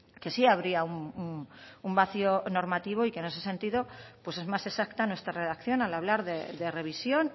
que sí habría un vacío normativo y que en ese sentido pues es más exacta nuestra redacción al hablar de revisión